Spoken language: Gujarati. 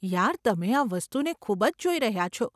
યાર, તમે આ વસ્તુને ખૂબ જ જોઈ રહ્યા છો.